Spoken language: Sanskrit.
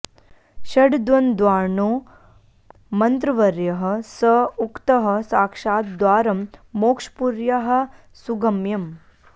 षड्द्वन्द्वार्णो मन्त्रवर्यः स उक्तः साक्षाद् द्वारं मोक्षपुर्याः सुगम्यम्